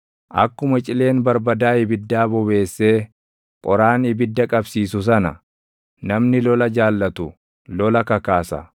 Akkuma cileen barbadaa ibiddaa bobeessee // qoraan ibidda qabsiisu sana namni lola jaallatu lola kakaasa.